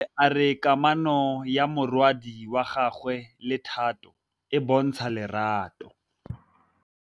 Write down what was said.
Bontle a re kamanô ya morwadi wa gagwe le Thato e bontsha lerato.